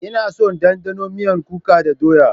Ina son ɗanɗanon miyar kuka da doya.